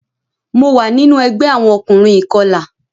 Mo wa ninu ẹgbẹ awọn ọkunrin ikọla.